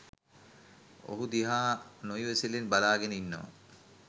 ඔහු දිහා නො ඉවසිල්ලෙන් බලා ගෙන ඉන්නවා.